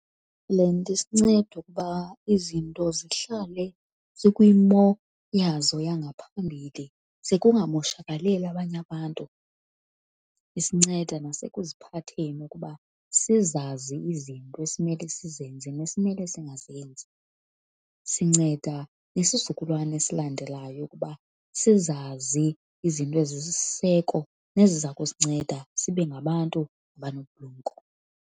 Le nto isinceda ukuba izinto zihlale zikwimo yazo yangaphambili ze kungamoshakalelwa abanye abantu, isinceda nasekuphatheni ukuba sizazi izinto esimele sizenze nesimele singazenzi. Sinceda nesizukulwana esilandelayo ukuba sizazi izinto ezisisiseko neziza kusinceda sibe ngabantu abanobulumko.